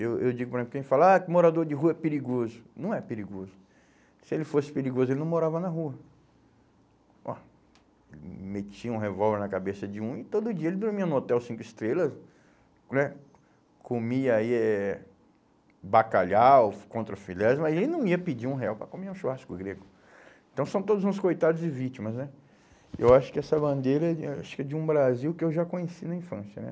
eu eu digo, por exemplo, quem fala, ah, que morador de rua é perigoso não é perigoso se ele fosse perigoso ele não morava na rua ó metia um revólver na cabeça de um e todo dia ele dormia no hotel cinco estrelas né, comia aí eh bacalhau, contrafilé, mas ele não ia pedir um real para comer um churrasco grego então são todos uns coitados e vítimas né eu acho que essa bandeira é acho que de um Brasil que eu já conheci na infância né?